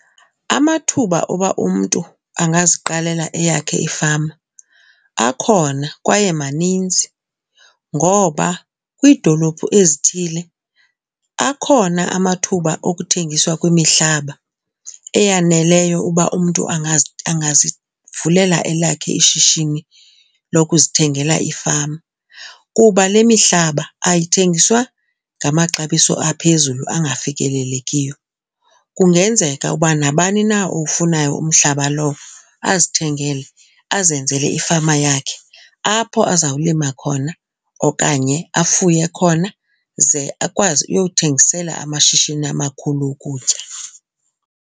Amathuba oba umntu angaziqalela eyakhe ifama akhona kwaye maninzi ngoba kwiidolophu ezithile akhona amathuba okuthengiswa kwemihlaba eyaneleyo uba umntu angazivulela elakhe ishishini lokuzithengela ifama kuba le mihlaba ayithengiswa ngamaxabiso aphezulu angafikelelekiyo. Kungenzeka uba nabani na owufunayo umhlaba lowo azithengele azenzele ifama yakhe apho azawulima khona okanye afuye khona ze akwazi uyothengisela amashishini amakhulu ukutya.